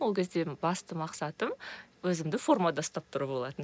ол кезде басты мақсатым өзімді формада ұстап тұру болатын